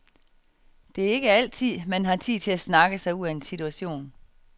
Det er ikke altid, man har tid til at snakke sig ud af en situation.